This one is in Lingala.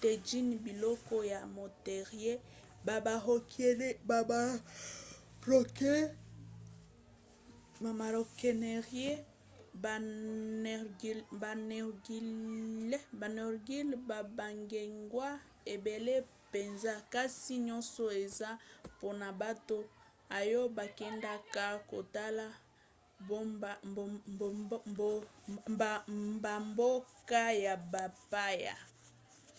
tajines biloko ya poterie ba maroquinerie ba narguilés pe bageegaws ebele mpenza kasi nyonso eza mpona bato oyo bakendaka kotala bamboka ya bapaya